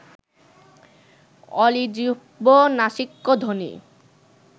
অলিজিহ্ব্য নাসিক্যধ্বনি